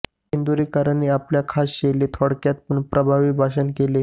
इंदुरीकरांनी आपल्या खास शैलीत थोडक्यात पण प्रभावी भाषण केले